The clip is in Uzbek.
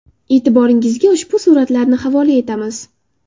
E’tiboringizga ushbu suratlarni havola etamiz.